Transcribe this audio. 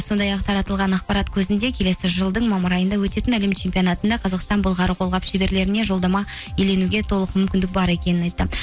сондай ақ таратылған ақпарат көзінде келесі жылдың мамыр айында өтетін әлем чемпионатында қазақстан былғары қолғап шеберлеріне жолдама иеленуге толық мүмкіндік бар екенін айтты